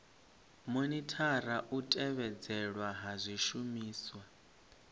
monithara u tevhedzelwa ha zwishumiswa